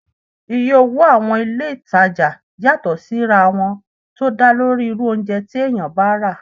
Iye owó ní àwọn ilé-ìtánjẹ yàtọ̀ sí ra wọn tó dálórí irú oúnjẹ tí èèyàn bá rà